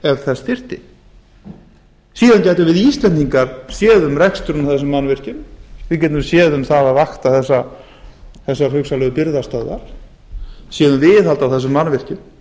ef þess þyrfti síðan gætum við íslendingar séð um reksturinn á þessum mannvirkjum við getum séð um að vakta þessar hugsanlegu birgðastöðvar séð um viðhald á þessum mannvirkjum